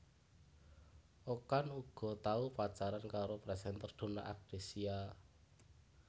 Okan uga tau pacaran karo presenter Donna Agnesia